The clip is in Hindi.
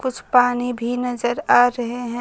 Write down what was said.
कुछ पानी भी नजर आ रहे हैं।